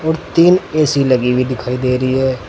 और तीन ए_सी लगी हुई दिखाई दे रही है।